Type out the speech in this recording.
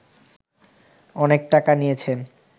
অনেক টাকা নিয়েছেন